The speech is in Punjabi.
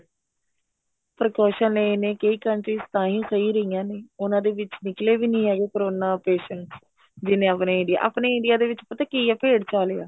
precaution ਲਏ ਨੇ ਕਈ countries ਤਾਂਹੀ ਸਹੀ ਰਹੀਆਂ ਨੇ ਉਹਨਾ ਦੇ ਵਿੱਚ ਨਿਕਲੇ ਵੀ ਨੀ ਹੈਗੇ ਕਰੋਨਾ patients ਜਿੰਨੇ ਆਪਣੇ India ਆਪਣੇ India ਦੇ ਵਿੱਚ ਪਤਾ ਕੀ ਏ ਭੇਡ ਚਾਲ ਈ ਏ